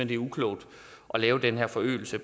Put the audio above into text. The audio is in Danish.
det er uklogt at lave den her forøgelse